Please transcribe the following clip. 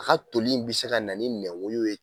A ka toli in bɛ se ka na nɛwoyo ye.